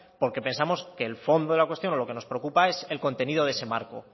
porque pensamos que el fondo de la cuestión o lo que nos preocupa es el contenido de ese marco